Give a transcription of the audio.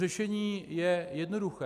Řešení je jednoduché.